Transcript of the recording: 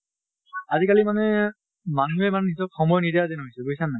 আজি কালি মানে মানুহে মানে নিজক সময় নিদিয়া যেন হৈছে, বুজিছা নে নাই?